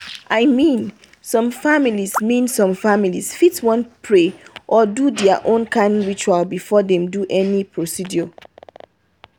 i mean some families mean some families fit wan pray or do their own kind ritual before dem do any procedure.